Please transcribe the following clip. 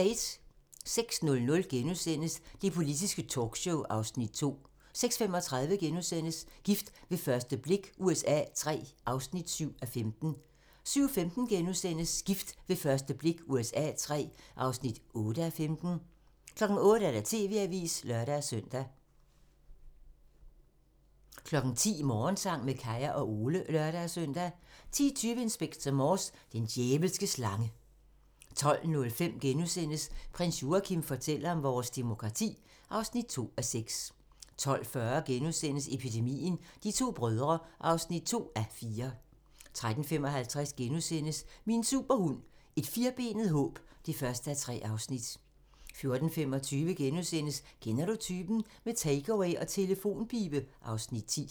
06:00: Det politiske talkshow (Afs. 2)* 06:35: Gift ved første blik USA III (7:15)* 07:15: Gift ved første blik USA III (8:15)* 08:00: TV-avisen (lør-søn) 10:00: Morgensang med Kaya og Ole (lør-søn) 10:20: Inspector Morse: Den djævelske slange 12:05: Prins Joachim fortæller om vores demokrati (2:6)* 12:40: Epidemien - De to brødre (2:4)* 13:55: Min superhund: Et firbenet håb (1:3)* 14:25: Kender du typen? - med takeaway og telefonpibe (Afs. 10)*